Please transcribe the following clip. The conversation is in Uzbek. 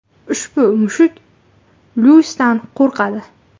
Ushbu mushuk Luisdan qo‘rqadi.